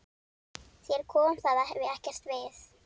Þér kom það ekkert við!